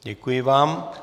Děkuji vám.